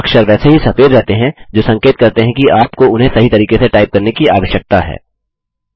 अक्षर वैसे ही सफेद रहते हैं जो संकेत करते हैं कि आपको उन्हें सही तरीके से टाइप करने की आवश्यकता है